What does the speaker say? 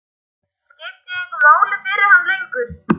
Skipti ég engu máli fyrir hann lengur?